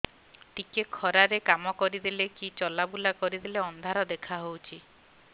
ଟିକେ ଖରା ରେ କାମ କରିଦେଲେ କି ଚଲବୁଲା କରିଦେଲେ ଅନ୍ଧାର ଦେଖା ହଉଚି